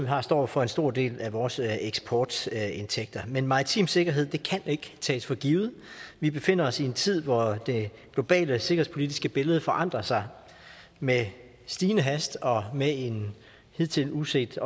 har står for en stor del af vores eksportindtægter men maritim sikkerhed kan ikke tages for givet vi befinder os i en tid hvor det globale sikkerhedspolitiske billede forandrer sig med stigende hast og med en hidtil uset